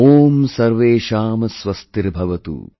Om Sarvesham Swastirbhavatu